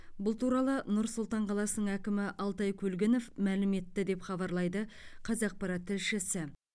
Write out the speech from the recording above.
бұл туралы нұр сұлтан қаласының әкімі алтай көлгінов мәлім етті деп хабарлайды қазақпарат тілшісі